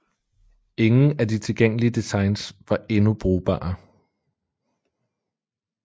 Ingen af de tilgængelige designs var endnu brugbare